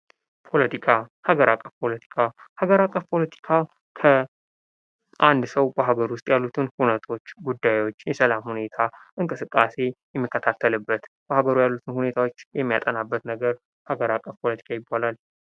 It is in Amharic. ፖለቲካ፦ ሀገር አቀፍ ፖለቲካ፦ ሀገር አቀፍ ፓለቲካ አንድ ሰው በሀገሩ ዉስጥ ያለውን ፖለቲካ ሁነቶች፣ ጉዳዮች፣ የሰላም ሁኔታ፣ እንቅስቃሴ የሚጠቃለልበት ማህበራዊ ሁነቶች የሚያጠናበት ነገር ሀገር አቀፍ ፖለቲካ ይባላል።